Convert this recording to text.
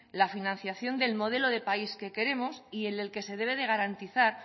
la financiación del modelo de país que queremos y en el que se debe de garantizar